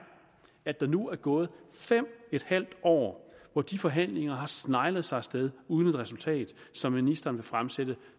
at der nu er gået fem en halv år hvor de forhandlinger har sneglet sig af sted uden et resultat som ministeren vil fremsætte